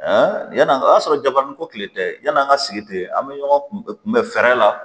yann'an o y'a sɔrɔ jabaranin ko kilen tɛ yan'an ka sigi ten an bɛ ɲɔgɔn kunbɛn fɛɛrɛ la